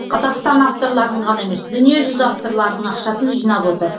қазақстан авторларының ғана емес дүниежүзі авторларының ақшасын жинап отыр